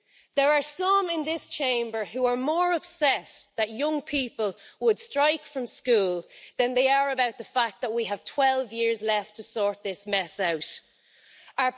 There are some in this Chamber who are more upset that young people would strike from school than they are about the fact that we have 12 years left to sort this mess out.